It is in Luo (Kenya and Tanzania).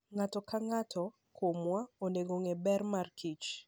Ng'ato ka ng'ato kuomwa onego ong'e ber mar kich.